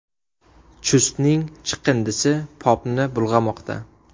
Chustning chiqindisi Popni bulg‘amoqda.